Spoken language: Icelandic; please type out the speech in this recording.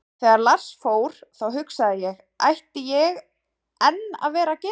Þegar Lars fór, þá hugsaði ég, ætti ég enn að vera að gera þetta?